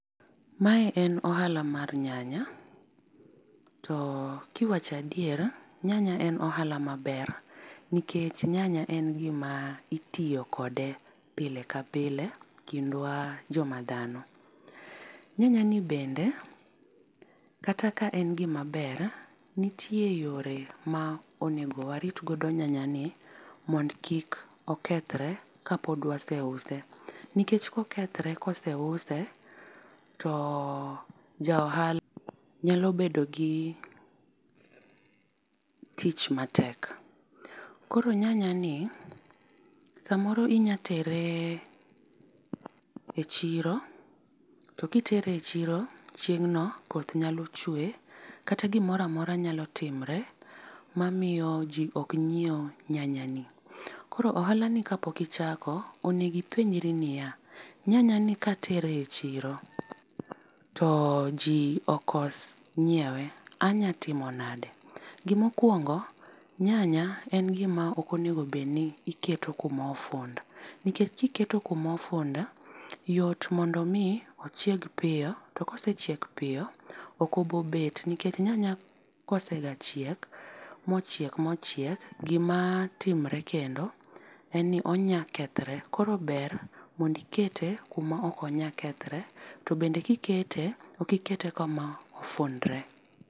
Mae en ohala mar nyanya to kiwacho adiera nyanya en ohala ma ber nikech nyanya en gi ma itiyo kode pile ka pile ,kindwa jo ma dhano. Nyanya ni bende kata ka en gi maber nitie yore ma onego warit godo nyanya ni mond kik okethre ka pod waseuse, nikech ka okethre koseuso to ja ohala nyalo bedo gi tich ma tek. Koro nyanya ni sa moro inyalo tere e chiro to kitere e chiro chieng' no koth nyalo chwe kata gi moro amora nyalo timre ma miyo ji ok nyiew nyanya ni. Koro ohala ni ka pok ichako., onego ipenjri ni ya, nyanya ni katere e chiro to ji okos ngiewe anya timo nade, gi ma okuongo nyanya ok en gi ma onego bed ni iketo kuma ofund nikech ki iketo kuma ofundo yot mondo mi ochiek piyo to ka osechiek piyo ok obi bet nikech nyanya ka osega chiek ma ochiek ma ochiek, gi ma timore kendo en ni onya kethore koro ber mondo ikete kuma ok onyal kethre, to be ki ikete ok ikete kama ofundre.